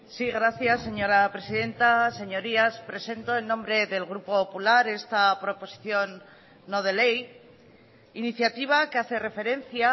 sí gracias señora presidenta señorías presento en nombre del grupo popular esta proposición no de ley iniciativa que hace referencia